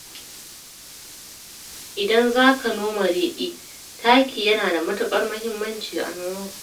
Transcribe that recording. Idan za ka noma riɗi, taki yana da matukar muhimmanci a noman